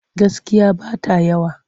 Gaskiya ba ta yawa.